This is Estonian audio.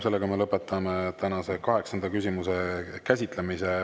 Sellega me lõpetame tänase kaheksanda küsimuse käsitlemise.